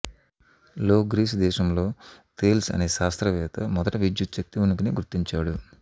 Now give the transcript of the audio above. లో గ్రీసు దేశంలో థేల్స్ అనేశాస్త్ర వేత్త మొదట విద్యుచ్చక్తి ఉనికిని గుర్తించాడు